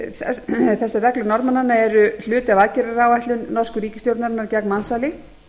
gistilandi þessar reglur norðmannanna eru hluti af aðgerðaáætlun nokkru ríkisstjórnarinnar gegn mansali